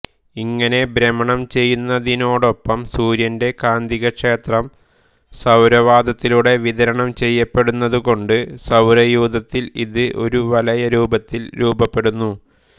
ഇങ്ങനെ ഭ്രമണം ചെയ്യുന്നതിനോടൊപ്പം സൂര്യന്റെ കാന്തികക്ഷേത്രം സൌരവാതത്തിലൂടെ വിതരണം ചെയ്യപ്പെടുന്നതുകൊണ്ട് സൌരയൂഥത്തിൽ ഇത് ഒരു വലയ രൂപത്തിൽ രൂപപ്പെടുന്നു